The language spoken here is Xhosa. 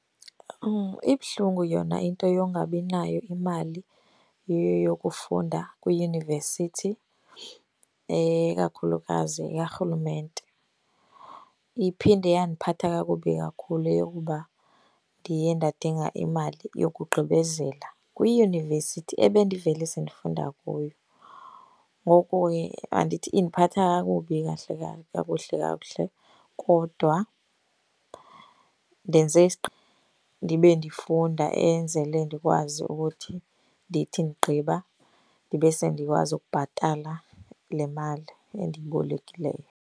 Ibuhlungu yona into yokungabi nayo imali yokufunda kwiyunivesithi ikakhulukazi karhulumente. Iphinde yandiphatha kakubi kakhulu eyokuba ndiye ndadinga imali yokugqibezela kwiyunivesithi ebendivele sendifunda kuyo. Ngoku andithi indiphatha kakubi kahle kahle, kakuhle kakuhle kodwa ndenze ndibe ndifunda enzele ndikwazi ukuthi ndithi ndigqiba ndibe sendikwazi ukubhatala le mali endiyibolekileyo.